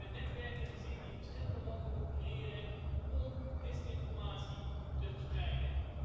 We hebben netwerken gezien die in verschillende landen opereren om desinformatie te verspreiden.